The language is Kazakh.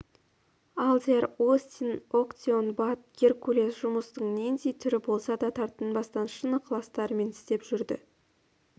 алдияр остин актеон бат геркулес жұмыстың нендей түрі болса да тартынбастан шын ықыластарымен істеп жүрді